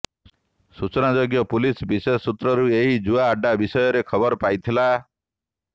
ସୂଚନାଯୋଗ୍ୟ ପୁଲିସ ବିଶେଷ ସୂତ୍ରରୁ ଏହି ଜୁଆ ଆଡ୍ଡା ବିଷୟରେ ଖବର ପାଇଥିଲା